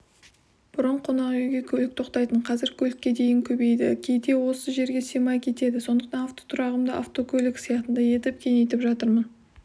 бұрын қонақүйге көлік тоқтайтын қазір көлікке дейін көбейді кейде осы жерге сыймай кетеді сондықтан автотұрағымды автокөлік сыйатындай етіп кеңейтіп жатырмын